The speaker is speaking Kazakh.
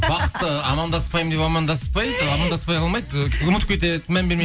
бақыт ы амандаспаймын деп амандаспайды амандаспай қалмайды ы ұмытып кетеді мән бермей